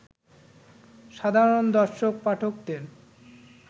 সাধারণ দর্শক-পাঠকদের